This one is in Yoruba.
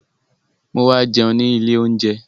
Mo wá jẹun ní ilé oúnjẹ